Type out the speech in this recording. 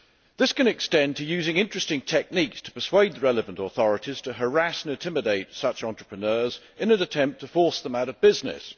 This can extend to using interesting techniques to persuade the relevant authorities to harass and intimidate such entrepreneurs in an attempt to force them out of business.